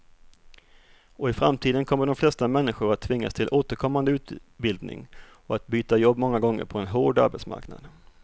Och i framtiden kommer de flesta människor att tvingas till återkommande utbildning och att byta jobb många gånger på en hård arbetsmarknad.